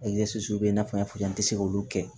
bɛ i n'a fɔ n y'a fɔ i ye an tɛ se k'olu kɛ